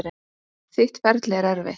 Þitt ferli er erfitt.